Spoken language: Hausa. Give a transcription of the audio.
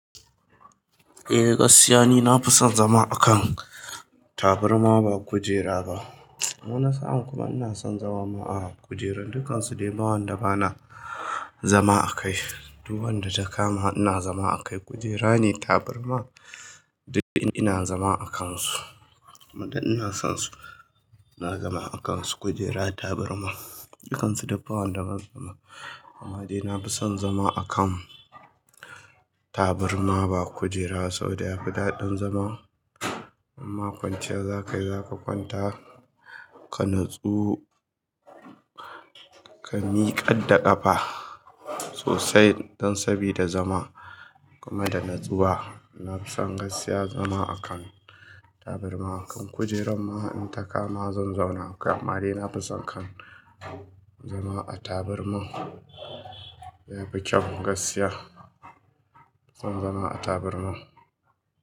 Eh, gaskiya ne na fi son zama a kan taburma ba kujera ba. Wani sa'in kuma ina son zama a kujera. Dukansu dai bawan da ba na zama a kai. Duk wadda ta kama ina zama a kai. Kujera ne, taburma dai ina zama a kansu. Duk ina sonsu ina zama akansu. Kujera tabarma duk bawanda bana zama akai amma dai na fi son zama, akan tabarma ba kujera ba saboda yafi dadin zama. Imma kwanciya zakayi zaka kwanta ka nasu ka mikar da kafa sosai don sabi da zama kuma da natsuwa nafison gaskiya zama a kan taburma kujera ma in takama zan zauna. Amma dai nafison kam zama a tabarma amma yafi kyau gaskiya zama a tabarma.